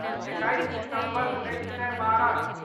एकैस दिसम्बर उन्नैस सए बारह